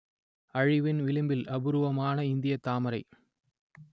அழிவின் விளிம்பில் அபூர்வமான இந்தியத் தாமரை